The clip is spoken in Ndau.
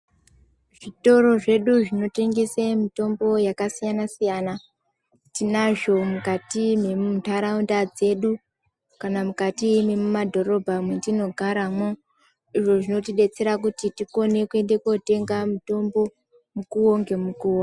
Zvitoro zvedu zvinotengese mitombo yakasiyana siyana tinazvo mukati mwentharaunda dzedu kana mukati mwemadhorobha mwetinogaramwo izvo zvinotidetsera kuti tikone kuende kotenga mutombo mukuwo ngemukuwo.